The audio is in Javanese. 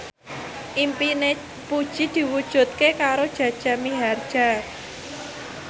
impine Puji diwujudke karo Jaja Mihardja